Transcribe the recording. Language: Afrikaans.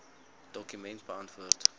dokument beantwoord